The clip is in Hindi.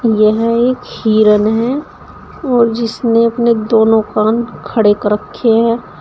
यह एक हिरन है और जिसने अपने दोनों कान खड़े कर रखे है।